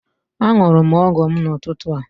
Aṅụrụ m ọgwụ m n'ụtụtụ.